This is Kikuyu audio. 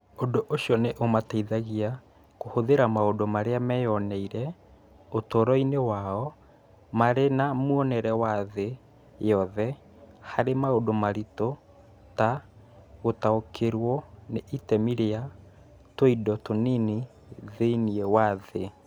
Ũndũ ũcio nĩ ũmateithagia kũhũthĩra maũndũ marĩa meyoneire ũtũũro-inĩ wao marĩ na muonere wa thĩ yothe harĩ maũndũ maritũ ta gũtaũkĩrũo nĩ itemi rĩa tũindo tũnini thĩinĩ wa thĩ